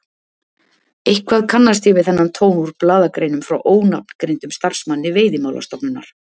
Eitthvað kannast ég við þennan tón úr blaðagreinum frá ónafngreindum starfsmanni Veiðimálastofnunar!